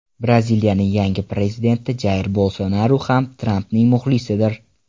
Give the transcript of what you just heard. Braziliyaning yangi prezidenti Jair Bolsonaru ham Trampning muxlisidir.